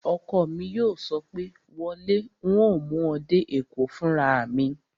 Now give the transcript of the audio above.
Ọkọ mi yóò sọ pé, "wọ lé, un ó mú ọ dé Èkó fúnra mi!"